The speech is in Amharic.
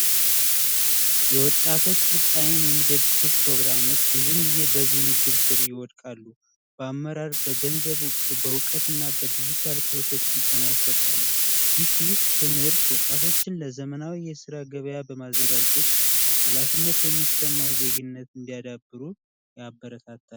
የወጣቶች የሚደግፉ ፕሮግራሞች በዚህ ምድር ይወድቃሉ በአመራር በገንዘቡ በዕውቀትና በይኝ ስልጠና ይሰጣሉ ትምህርት ወጣቶችን ለዘመናዊ የስራ ገበያ በማዘጋጀት የሚሰማው ዜግነት እንዲያዳብሩ ያበረታታሉ